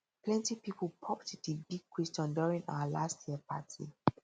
plenty people popped di big question during our last year party